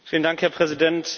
Herr Präsident!